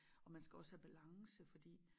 Og man skal også have balance fordi